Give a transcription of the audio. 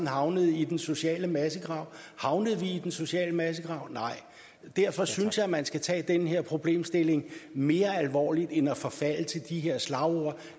havne i den sociale massegrav havnede vi i den sociale massegrav nej og derfor synes jeg man skal tage den her problemstilling mere alvorligt end at forfalde til de her slagord